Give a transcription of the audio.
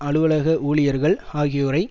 அலுவலக ஊழியர்கள் ஆகியோரை